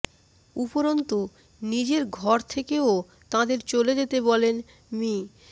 উপরন্তু নিজের ঘর থেকেও তাঁদের চলে যেতে বলেন মি